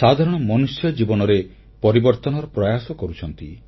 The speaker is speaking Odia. ସାଧାରଣ ମନୁଷ୍ୟ ଜୀବନରେ ପରିବର୍ତନର ପ୍ରୟାସ କରିଛନ୍ତି